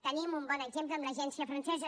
tenim un bon exemple en l’agència francesa